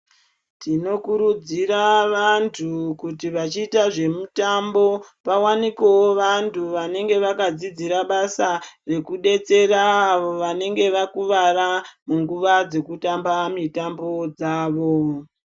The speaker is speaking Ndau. Tinokurudzira vantu kuti vachiita zvemutambo vawanikewo vantu vanenge vakadzidzira basa rekudetsera avo vanenge vakuvara munguwa dzekutamba mitambo dzavo.